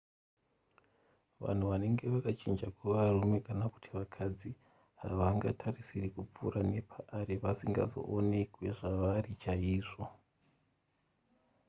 vanhu vanenge vakachinja kuva varume kana kuti vakadzi havangatarisiri kupfuura nepaari vasingazoonekwe zvavari chaizvo